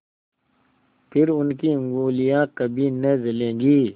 फिर उनकी उँगलियाँ कभी न जलेंगी